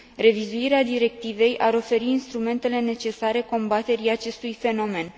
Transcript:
Revizuirea directivei ar oferi instrumentele necesare combaterii acestui fenomen.